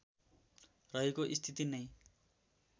रहेको स्थिति नै